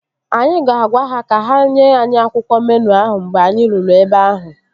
Anyị ga-agwa ha ka ha nye anyị akwụkwọ meenụ ahụ mgbe anyị ruru ebe ahụ